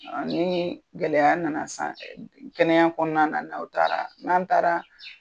Ni gɛlɛya nana sisan kɛnɛya kɔnɔna n'aw taara n'an taara